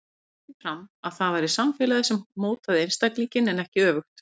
Hann hélt því fram að það væri samfélagið sem mótaði einstaklinginn en ekki öfugt.